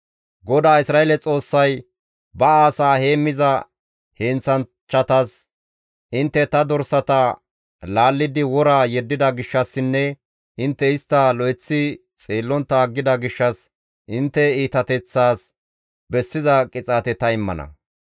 GODAA Isra7eele Xoossay ba asaa heemmiza heenththanchchatas, «Intte ta dorsata laallidi wora yeddida gishshassinne intte istta lo7eththi xeellontta aggida gishshas intte iitateththaas bessiza qixaate ta immana.